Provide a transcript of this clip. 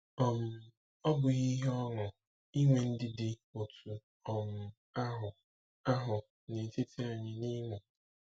um Ọ́ bụghị ihe ọṅụ inwe ndị dị otú um ahụ ahụ n’etiti anyị n’Imo?